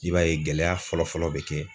I b'a ye gɛlɛya fɔlɔ fɔlɔ bɛ kɛ